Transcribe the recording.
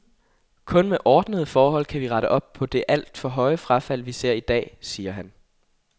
Kun med ordnede forhold kan vi rette op på det alt for høje frafald, vi ser i dag, siger han.